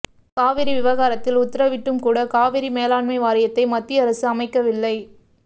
காவிரி விவகாரத்தில் உத்தரவிட்டும கூட காவிரி மேலாண்மை வாரியத்தை மத்திய அரசு அமைக்கவில்லை